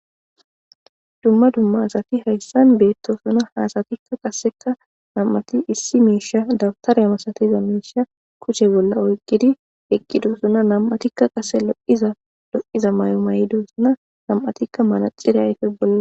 Dumma dumma asati haysani betosona, ha asatika qaseka nam'ati issi misha dawutare masatiza miisha kushe bolla oykidi eqidosona,man'atika qase lo'iza mayo mayidosona ,nam'atika manaxire ayfe bolla ..